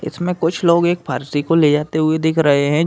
इसमें कुछ लोग एक फ़र्शी को ले जाते हुए दिख रहे हैं।